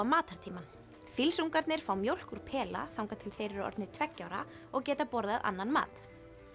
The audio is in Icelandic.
matartímann fá mjólk úr pela þangað til þeir eru orðnir tveggja ára og geta borðað annan mat